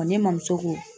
ne ma muso ko